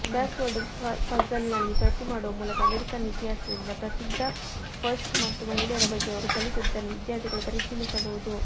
crossword ಪಝಲ್ನಲ್ಲಿ ಭರ್ತಿಮಾಡುವ ಮೂಲಕ ಅಮೆರಿಕನ್ ಇತಿಹಾಸದಿಂದ ಪ್ರಸಿದ್ಧ ಫಸ್ಟ್ಸ್ ಮತ್ತು ಮಹಿಳೆಯರ ಬಗ್ಗೆ ಅವರು ಕಲಿತದ್ದನ್ನು ವಿದ್ಯಾರ್ಥಿಗಳು ಪರಿಶೀಲಿಸಬಹುದು